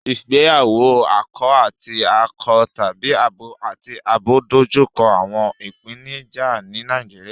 Ìgbéyàwó akọ àti akọ tàbí abo àti abo ń dojú kọ àwọn ìpèníjà ní Nàìjíríà